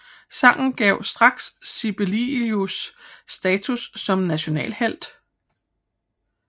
Sangen gav straks Sibelius status som nationalhelt